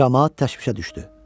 Camaat təşvişə düşdü.